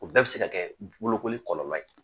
O bɛɛ bɛ se ka kɛ bolokoli kɔlɔlɔ ye.